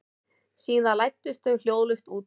Síðan læddust þau hljóðlaust út.